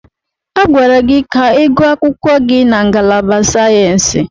Agwara gị ka ịgụọ akwụkwọ gị na ngalaba sayensị!